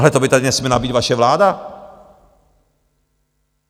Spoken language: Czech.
Ale to by tady nesměla být vaše vláda.